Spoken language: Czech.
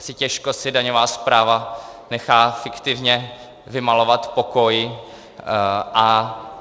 Asi těžko si daňová správa nechá fiktivně vymalovat pokoj.